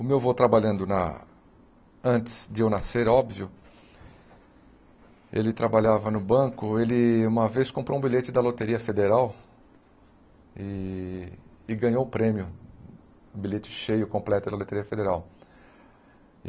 O meu avô trabalhando na antes de eu nascer, óbvio, ele trabalhava no banco, ele uma vez comprou um bilhete da Loteria Federal e e ganhou o prêmio, bilhete cheio, completo pela Loteria Federal.